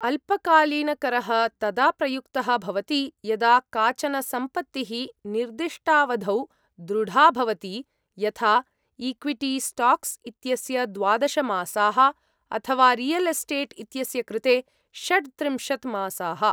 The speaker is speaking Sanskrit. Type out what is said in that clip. अल्पकालीनकरः तदा प्रयुक्तः भवति यदा, काचन सम्पत्तिः निर्दिष्टावधौ दृढा भवति, यथा इक्विटी स्टाक्स् इत्यस्य द्वादश मासाः, अथवा रियल् एस्टेट् इत्यस्य कृते षड्त्रिंशत् मासाः।